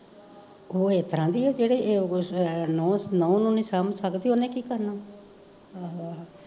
ਓ ਏਤਰਾਂ ਦੀ ਆ, ਜਿਹੜੇ ਨਊ ਨੂੰ ਨੀ ਸਮਜ ਸਕਦੀ ਓਨੇ ਕੀ ਕਰਨਾ